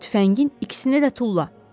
Tüfəngin ikisini də tulla.